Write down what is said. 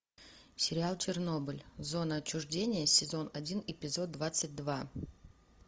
сериал чернобыль зона отчуждения сезон один эпизод двадцать два